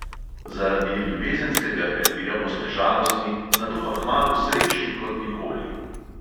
Zaradi ljubezenskega prepira boste žalostni, nato pa kmalu srečni kot nikoli.